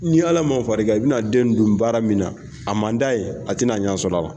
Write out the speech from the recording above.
N'i ala ma fariri kan i bɛna den don baara min na a man d'a ye a tɛna n'a ɲɛ sɔrɔ la.